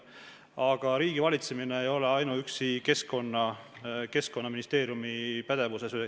Aga riigi valitsemine ei ole ainuüksi Keskkonnaministeeriumi pädevuses.